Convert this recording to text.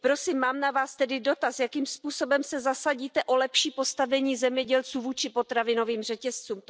Prosím, mám na Vás tedy dotaz Jakým způsobem se zasadíte o lepší postavení zemědělců vůči potravinovým řetězcům?